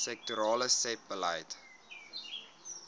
sektorale sebbeleid